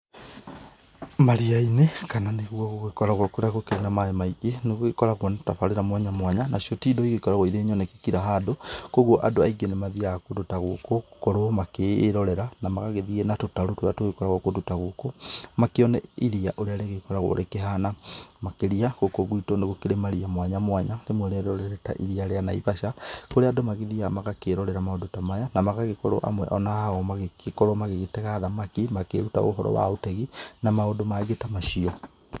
Maria-inĩ kana nĩ guo gũgĩkoragwo kũrĩa gũgĩkoragwo kwĩna maĩ maingĩ nĩ gũgĩkoragwo na tabarĩra mwanya mwanya, nacio nĩ cio ti indo igĩkoragwo cirĩ nyoneki kira handũ, kũguo andũ aingĩ nĩ mathiaga kũndũ ta gũkũ gũkorwo magĩkĩirorera na magagĩthiĩ na tũtarũ tũrĩa tũgĩkoragwo kũndũ ta gũkũ, makĩone iria ũrĩa rĩgĩkoragwo rĩkĩhana, makĩria gũkũ gwitũ nĩ gũkĩrĩ maria mwanya mwanya, rĩmwe rĩarĩo rĩrĩ ta iria rĩa Naivasha, kũrĩa andũ magĩthiaga magakĩrorera maũndũ ta maya, na magakorwo amwe ao magagĩkorwo magĩgĩtega thamaki makĩruta ũhoro wa ũtegi na maũndũ mangĩ ta macio.